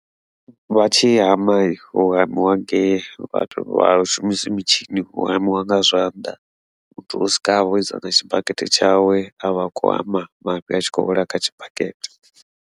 Vha tshi hama hu hamiwa nge vhathu vha shumisiwi mitshini, hu hamiwa nga zwanḓa muthu u swika avha o dzula na tshibakete tshawe avha khou hama, mafhi a tshi khou wela kha tshibakete.